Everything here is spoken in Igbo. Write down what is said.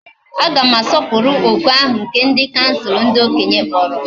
Aga m asoporu oku ahu nke bdi kansul ndi okenye kporo.